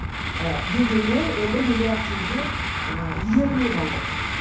і дегенмен он бір миллиард теңге і игерілмей қалды